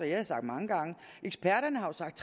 jeg sagt mange gange at eksperterne har sagt